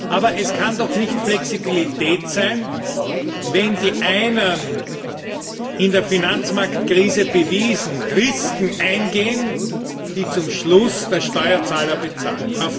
Aber es kann doch nicht Flexibilität sein, wenn die einen in der Finanzmarktkrise bewiesen Risiken eingehen, die zum Schluss der Steuerzahler bezahlt.